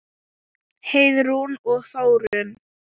Heiðrún og Þórunn.